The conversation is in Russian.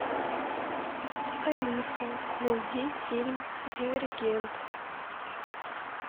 алиса найди фильм дивергент